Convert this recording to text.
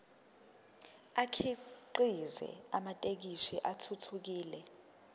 akhiqize amathekisthi athuthukile